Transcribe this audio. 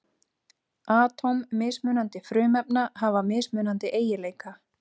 Atóm mismunandi frumefna hafa mismunandi eiginleika.